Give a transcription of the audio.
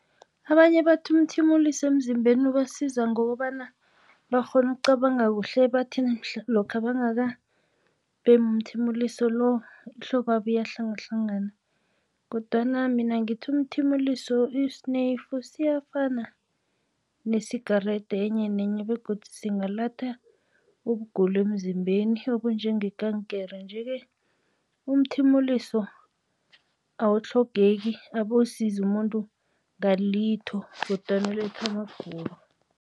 Abanye bathi umthimuliso emzimbeni ubasiza ngokobana bakghona ukucabanga kuhle bathi lokha bangakabhemi umthimuliso lo ihloko yabo ihlangahlangana, kodwana mina ngithi umthimuliso isineyifu siyafana ne-cigarette enye nenye begodu singaletha ukugula emzimbeni okunjengekankere. Nje-ke umthimuliso awutlhogeki, abowusizi umuntu ngalitho kodwana uletha amagulo.